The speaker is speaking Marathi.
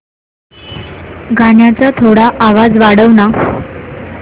गाण्याचा थोडा आवाज वाढव ना